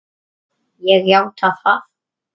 Ég játa það.